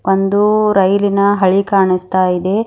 ಒಂದೂ ರೈಲಿನ ಹಳಿ ಕಾಣಿಸ್ತಾ ಇದೆ.